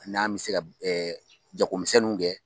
N'an mɛ se ka jagomisɛnninw kɛ.